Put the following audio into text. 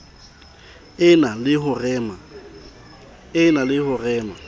e na le ho rema